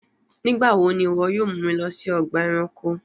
Nígbàwọ̀ ni iwọ yóò mú mi lọ sí ọgba ẹ̀ránkò?